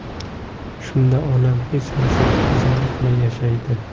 Shunda onam hech narsaga zoriqmay yashaydi.